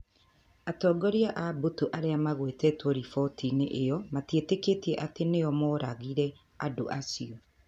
Atongoria a mbũtũ arĩa magwetetwo riboti-inĩ ĩyo matietĩkĩtie atĩ nĩo mooragire andũ acio.